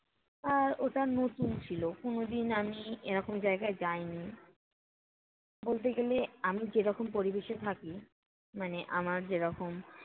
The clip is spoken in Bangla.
আর ওটা নতুন ছিল কোনো দিন আমি এরকম জায়গায় যাইনি। বলতে গেলে আমি যেরকম পরিবেশে থাকি, মানে আমার যেরকম